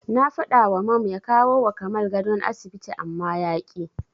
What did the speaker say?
Na faɗawa Mam ya kawowa Kamal gadon asibiti amma yaƙi.